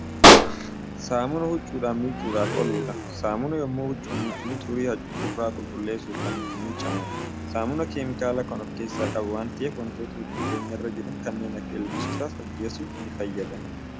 Saamunaa huccuudhaan miiccudhaaf ooludha. saamunaan yemmuu huccuu miiccinu xurii huccuurraa qulqulleessuuf Kan ittiin miiccamuudha. saamunaan keemikaala Kan of keessaa qabu waan ta'eef wantoota huccuu keenyarra Jiran kanneen Akka ilbiisotaas ajjeesuufi ni fayyada.